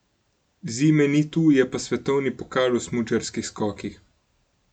Zime ni tu, je pa svetovni pokal v smučarskih skokih.